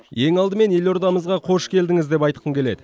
ең алдымен елордамызға қош келдіңіз деп айтқым келеді